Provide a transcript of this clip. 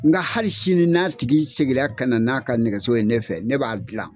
Nka hali sini n'a tigi segira kana n'a ka nɛgɛso ye ne fɛ ne b'a dilan.